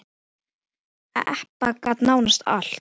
Ebba gat nánast allt.